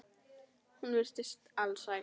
Hún virtist alsæl.